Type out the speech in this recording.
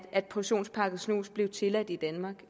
portionspakket snus blev tilladt i danmark